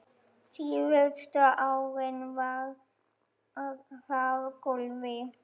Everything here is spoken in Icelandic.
Síðustu árin var það golfið.